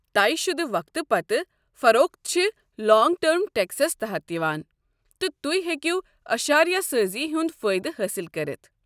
طےٚ شُدٕ وقتہٕ پتہٕ فروخت چھِ لانٛگ ٹٔرم ٹٮ۪کسس تحت یوان تہٕ تُہۍ ہیٚکو اشاریہ سٲزی ہُنٛد فٲیدٕ حٲصل کٔرتھ۔